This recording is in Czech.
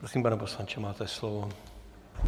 Prosím, pane poslanče, máte slovo.